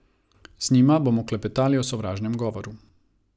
Z njima bomo klepetali o sovražnem govoru.